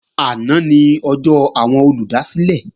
Àná ni ọjọ́ àwọn olùdásílẹ̀